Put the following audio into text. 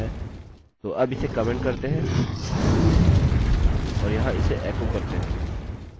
तो अब इसे कमेन्ट करते हैं और यहाँ इसे एको करते हैं